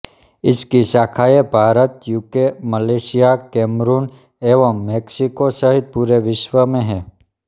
इसकी शाखाएँ Bharat UK Malaysia Cameroon एवं मैक्सिको सहित पूरे विश्व में हैं